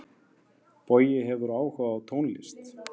Bogi hefur áhuga á tónlist.